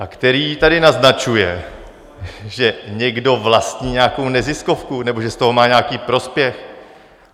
A který tady naznačuje, že někdo vlastní nějakou neziskovku nebo že z toho má nějaký prospěch.